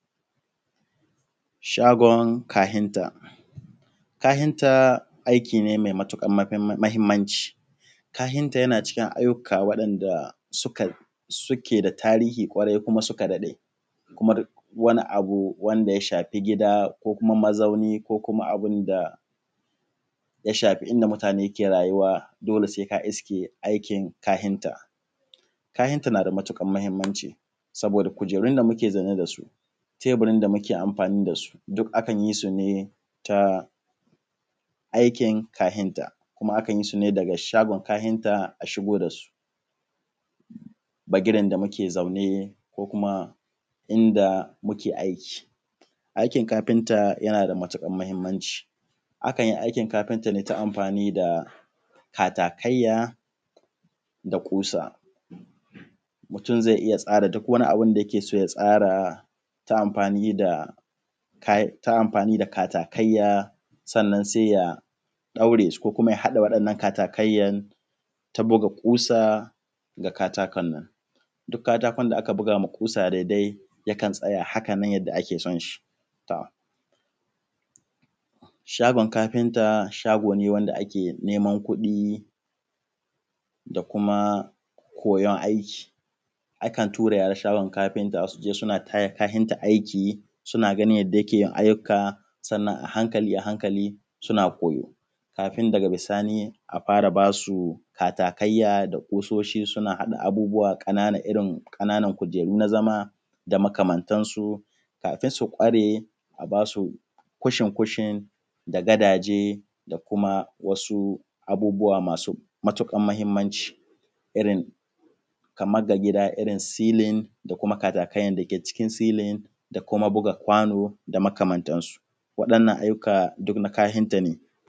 Shagon kafinta. Kafinta aiki ne mai matuƙar mahimmanci. Kafinta yana cikin ayyuka waɗanda suke da tarihi ƙwarai kuma suka dade, kuma duk wani abu wanda suka shafi gida, ko kuma mazauni, ko kuma abun da ya shafi inda mutane ke rayuwa, dole sai ka iske aikin kafinta. Kafinta na da matuƙar muhimmanci saboda kujerun da muke zaune da su teburin da muke amfani da su duk akan yi su ne ta aikin kafinta. Kuma akan yi shi ne daga shagon kafinta, a shigo da su da gidan da muke zaune, ko kuma inda muke aiki. Aikin kafinta yana da matuƙar muhimmanci akan yi aikin kafinta ne ta amfani da katakaiya, da ƙusa. Mutum zai iya tsara duk wani abun da yake so ya tsara ta amfani da katakaiya, sannan sai ya ɗaure su ko kuma ya haɗa waɗannan katakaiya ta buga ƙusa ga katakon nan. Duk katakon da aka buga ma kusa dai dai yakan tsaya hakanan yadda ake son shi. To shagon kafinta shago ne wanda ake neman kuɗi da kuma koyan aiki akan tura yara shagon kafinta su je suna taya kafinta aiki suna ganin yadda yake yin aiyuka. Sannan a hankali a hankali suna koyo kafin daga bisani a fara basu katakaiya da ƙusoshi suna haɗa abubuwa ƙanana irin ƙananan kujeru na zama da makamantan su kafin su ƙware, a ba su kushin kushin, da gadaje, da kuma wasu abubuwa masu matuƙar muhimmanci irin kaman ga gida irin silin da kuma katakai dake cikin silin, da kuma buga kwano, da makamantan su. Waɗannan aiyuka duk na kafinta ne.